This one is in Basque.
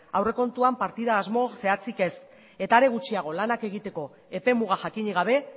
aurrekontuan partida asmo zehatzik ez eta are gutxiago lanak egiteko epe muga jakinik gabe